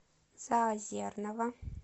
заозерного